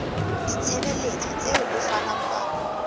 ditshebeletso tseo ho fanweng ka